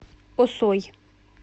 осой